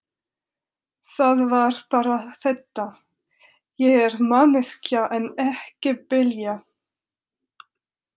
Það var bara þetta: Ég er manneskja en ekki belja.